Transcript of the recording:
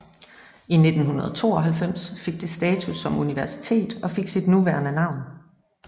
I 1992 fik det status som universitet og fik sit nuværende navn